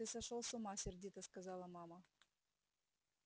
ты сошёл с ума сердито сказала мама